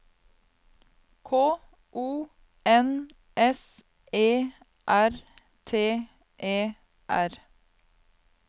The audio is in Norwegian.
K O N S E R T E R